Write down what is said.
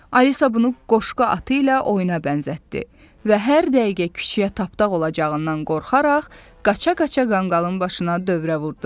Alisa bunu qoşqa atı ilə oyuna bənzətdi və hər dəqiqə küçüyə tapdaq olacağından qorxaraq qaça-qaça qanqalın başına dövrə vurdu.